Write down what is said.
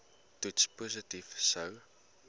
toets positief sou